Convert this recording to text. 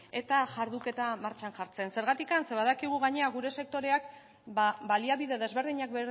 eta jarduketa martxan jartzen zurgaitik zeren badakigu gainera gure sektoreak baliabide desberdinak